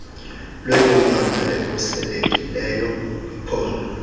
lwemimandla ekhuselekileyo kwiphondo